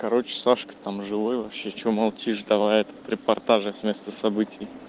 короче сашка там живой вообще что молчишь давай этот репортажи с места событий